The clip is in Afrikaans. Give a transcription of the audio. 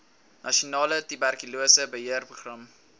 nasionale tuberkulose beheerprogram